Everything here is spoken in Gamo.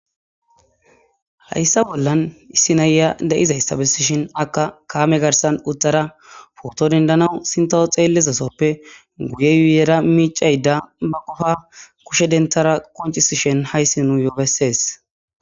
Hayssa bollan issi naya da'izayssa bessishin akka kaame garssan uttara pooto dendanaw sinttaw xeelliza sooppe guye yuyera miiccayda ba gofa kushe denttara qoncisishen hayssi nuyyo bessees.